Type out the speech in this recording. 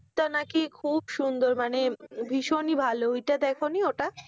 টা নাকি খুব সুন্দর, মানে ভীষণই ভালো, ওইটা দেখনি ওটা?